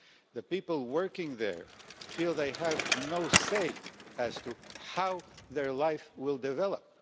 The people working there feel they have no say as to how their lives will develop.